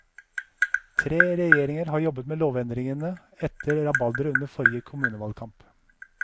Tre regjeringer har jobbet med lovendringene etter rabalderet under forrige kommunevalgkamp.